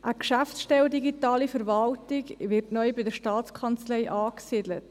Eine Geschäftsstelle Digitale Verwaltung wird neu bei der STA angesiedelt.